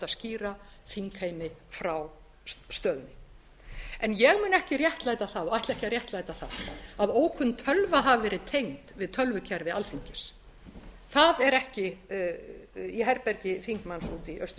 skýra þingheimi frá stöðunni en ég mun ekki réttlæta það og ætla ekki að réttlæta það að ókunn tölva hafi verið tengd við tölvukerfi alþingis í herbergi þingmanns úti í austurstræti það mun ég